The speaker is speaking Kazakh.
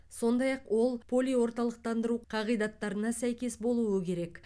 сондай ақ ол полиорталықтандыру қағидаттарына сәйкес болуы керек